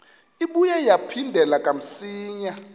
ibuye yaphindela kamsinya